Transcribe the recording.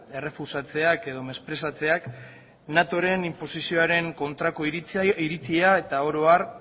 errefusatzeak edo mesprezatzeak natoren inposizioaren kontrako iritzia eta oro har